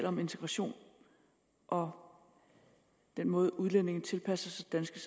om integration og den måde udlændinge tilpasser sig det